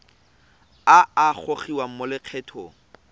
a a gogiwang mo lokgethong